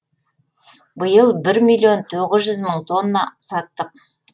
биыл бір миллион тоғыз жүз мың тонна саттық